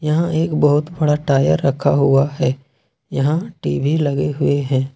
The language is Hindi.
यहां एक बहुत बड़ा टायर रखा हुआ है यहां टी_वी लगे हुए हैं।